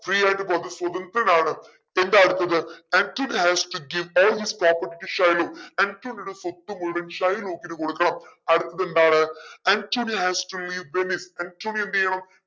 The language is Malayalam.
free ആയിട്ട് പോകാം സ്വാതന്ത്ര്യയനാണ് എന്താ അടുത്തത് Antonio hasto give all his property to Shylock ആന്റോണിയോടെ സ്വത്ത് മുഴുവനും ഷൈലോക്കിനു കൊടുക്കണം അടുത്തത് എന്താണ് Antonio has to leave Venice